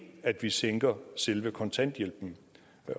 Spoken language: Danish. at vi sænker selve kontanthjælpen